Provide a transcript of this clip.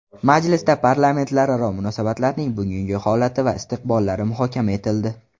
Majlisda parlamentlararo munosabatlarning bugungi holati va istiqbollari muhokama etildi.